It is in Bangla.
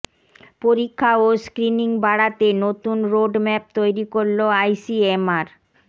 পরীক্ষা ও স্ক্রিনিং বাড়াতে নতুন রোডম্যাপ তৈরি করল আইসিএমআর